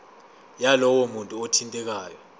yalowo muntu othintekayo